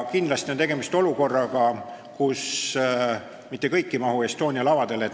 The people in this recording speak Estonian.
Kindlasti on tegemist olukorraga, kus mitte kõik ei mahu Estonia lavadele.